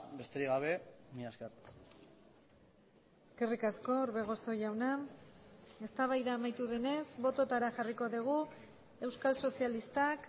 besterik gabe mila esker eskerrik asko orbegozo jauna eztabaida amaitu denez bototara jarriko dugu euskal sozialistak